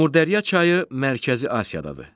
Amudərya çayı Mərkəzi Asiyadadır.